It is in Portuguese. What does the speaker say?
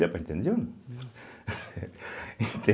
Deu para entender ou não?